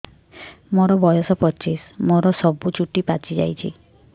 ମୋର ବୟସ ପଚିଶି ମୋର ସବୁ ଚୁଟି ପାଚି ଯାଇଛି